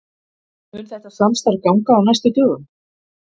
Mun þetta samstarf ganga á næstu dögum?